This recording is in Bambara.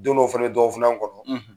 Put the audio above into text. Don dɔw fana dɔ fana kɔnɔ,